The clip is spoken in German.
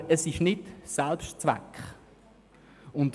Aber es darf nicht Selbstzweck sein.